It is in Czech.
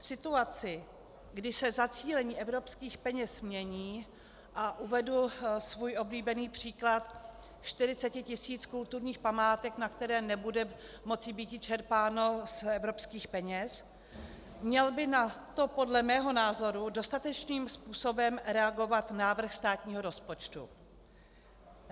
V situaci, kdy se zacílení evropských peněz mění, a uvedu svůj oblíbený příklad 40 tisíc kulturních památek, na které nebude moci být čerpáno z evropských peněz, měl by na to podle mého názoru dostatečným způsobem reagovat návrh státního rozpočtu.